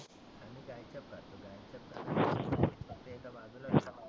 आम्ही गायछाप खातो. गायछाप आपलं एका बाजुला